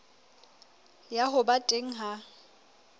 ya ho ba teng ha